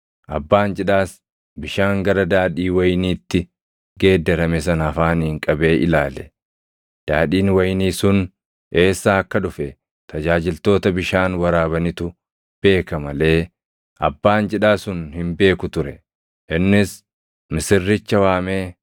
abbaan cidhaas bishaan gara daadhii wayiniitti geeddarame sana afaaniin qabee ilaale. Daadhiin wayinii sun eessaa akka dhufe tajaajiltoota bishaan waraabanitu beeka malee abbaan cidhaa sun hin beeku ture. Innis misirricha waamee